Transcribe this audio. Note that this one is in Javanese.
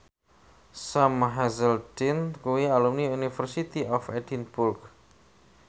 Sam Hazeldine kuwi alumni University of Edinburgh